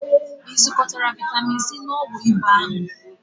Ị zụkotara vitamin C na ọgwụ ịba Ahu?